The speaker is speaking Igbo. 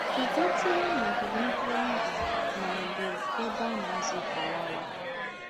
Ị̀ gátùlà n’ógìgè ńtùrùndù, mà ọ́ bụ́ n’èbè à ná-àzú́ fụ́láwà?